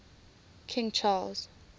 king charles